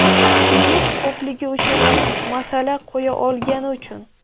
Pulimiz ko‘pligi uchun emas, masala qo‘ya olgani uchun.